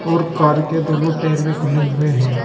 और कार के दोनों टायर भी खुले हुए हैं।